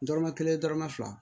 Dɔrɔmɛ kelen dɔrɔmɛ fila